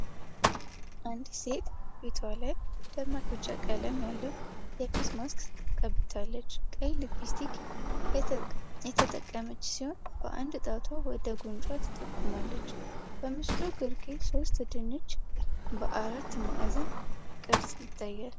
አንዲት ሴት ፊቷ ላይ ደማቅ ቢጫ ቀለም ያለው የፊት ማስክ ቀብታለች። ቀይ ሊፕስቲክ የተጠቀመች ሲሆን፤ በአንድ ጣቷ ወደ ጉንጯ ትጠቁማለች። በምስሉ ግርጌ ሶስት ድንች በአራት ማዕዘን ቅርጽ ይታያሉ።